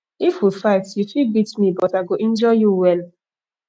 if we fight you go fit beat me but i go injure you well